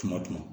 Tuma